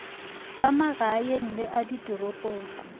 a magaeng le a ditoropong